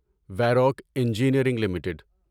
ویروک engineering limited